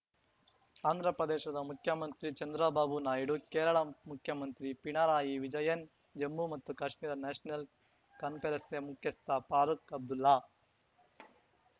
ಆಂಧ್ರಪ್ರದೇಶದ ಮುಖ್ಯಮಂತ್ರಿ ಚಂದ್ರಬಾಬು ನಾಯ್ಡು ಕೇರಳ ಮುಖ್ಯಮಂತ್ರಿ ಪಿಣರಾಯಿ ವಿಜಯನ್‌ ಜಮ್ಮು ಮತ್ತು ಕಾಶ್ಮೀರ ನ್ಯಾಷನಲ್‌ ಕಾನ್ಫರೆನ್ಸ್‌ ಮುಖ್ಯಸ್ಥ ಫಾರೂಕ್‌ ಅಬ್ದುಲ್ಲಾ